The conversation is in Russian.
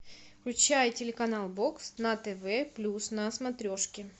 включай телеканал бокс на тв плюс на смотрешке